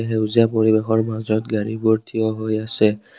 সেউজীয়া পৰিবেশৰ মাজত গাড়ীবোৰ থিয় হৈ আছে।